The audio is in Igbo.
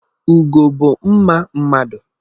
Ugo bu mma mmadu.